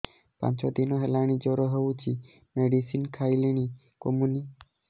ପାଞ୍ଚ ଦିନ ହେଲାଣି ଜର ହଉଚି ମେଡିସିନ ଖାଇଲିଣି କମୁନି